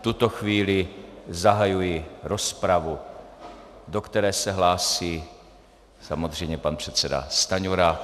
V tuto chvíli zahajuji rozpravu, do které se hlásí samozřejmě pan předseda Stanjura.